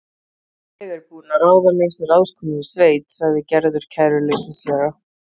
Ég er búin að ráða mig sem ráðskonu í sveit, sagði Gerður kæruleysislega.